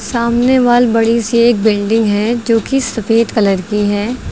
सामने वाल बड़ी सी एक बिल्डिंग है जो कि सफेद कलर की है।